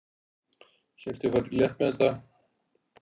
Hélt ég færi létt með það.